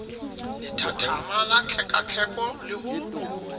lethathama la tlhekatlheko le ho